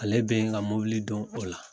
Ale bɛ n ka mɔbili dɔn o la.